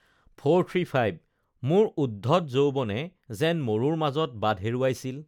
মোৰ উদ্ধত যৌৱনে যেন মৰুৰ মাজত বাট হেৰুৱাইছিল